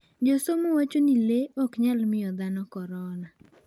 Josomo wacho ni le ok nyal miyo dhano korona.